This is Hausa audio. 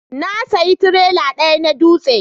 Na saya tirela daya na dutse